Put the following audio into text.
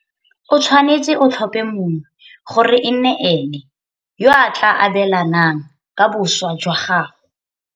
O tshwanetse o tlhope mongwe gore e nne ene yo a tla abelanang ka boswa jwa gago.